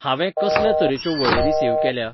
हांवे कसल्या तरेच्यो वळेरी सेव केल्या ?